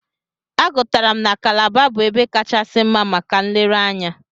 Agụtara m na Kalaba bụ ebe kachasi mma maka nlereanya.